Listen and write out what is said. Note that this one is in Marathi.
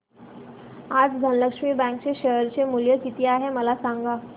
आज धनलक्ष्मी बँक चे शेअर चे मूल्य किती आहे मला सांगा